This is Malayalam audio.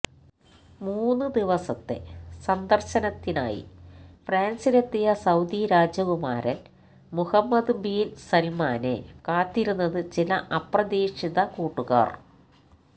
മൂന്ന് ദിവസത്തെ സന്ദര്ശനത്തിനായി ഫ്രാന്സിലെത്തിയ സൌദി രാജകുമാരന് മുഹമ്മദ് ബിന് സല്മാനെ കാത്തിരുന്നത് ചില അപ്രതീക്ഷിത കൂട്ടുകാര്